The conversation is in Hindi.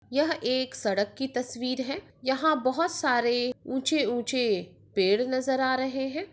यह एक सड़क की तस्वीर है यहा बोहत सारे ऊंचे ऊंचे पेड़ नजर आ रहे है।